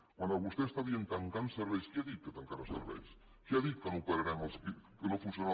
quan vostè està dient tancant serveis qui ha dit que tancarà serveis qui ha dit que no operarem que no funcionarà